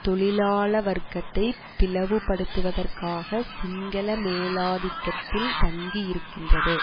தொழிலாள வர்க்கத்தை பிளவுபடுத்துவதற்காக சிங்கள மேலாதிக்கத்தில் தங்கியிருக்கின்றது